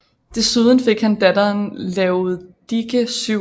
Desuden fik han datteren Laodike 7